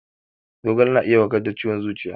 Zogale na iya warkar da ciwon zuciya